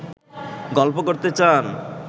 গল্প করতে চান